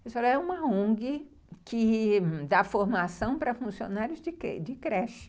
Ele falou, é uma ongui que dá formação para funcionários de creche.